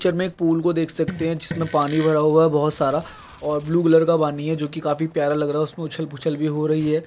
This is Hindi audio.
पिक्चर में पूल को देख सकते हैं जिसमें पानी भरा हुआ है बहुत सारा ओर ब्लू कलर का पानी है जो कि काफी प्यारा लग रहा है उसमें उछल पूछल भी हो रही है।